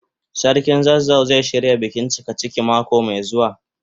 Sarkin zazzau zai shirya bikin cikaciki mako mai zuwa.